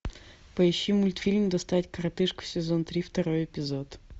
поищи мультфильм достать коротышку сезон три второй эпизод